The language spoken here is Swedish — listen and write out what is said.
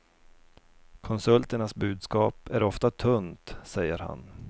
Konsulternas budskap är ofta tunt, säger han.